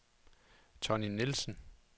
Tonny Nielsen